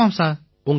ஆமாம் சார்